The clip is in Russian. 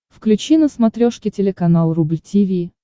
включи на смотрешке телеканал рубль ти ви